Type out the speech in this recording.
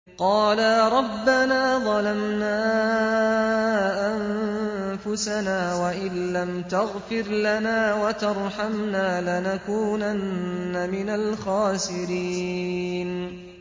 قَالَا رَبَّنَا ظَلَمْنَا أَنفُسَنَا وَإِن لَّمْ تَغْفِرْ لَنَا وَتَرْحَمْنَا لَنَكُونَنَّ مِنَ الْخَاسِرِينَ